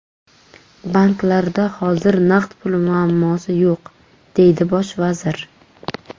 Banklarda hozir naqd pul muammosi yo‘q”, deydi Bosh vazir.